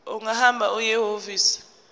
ungahamba uye ehhovisi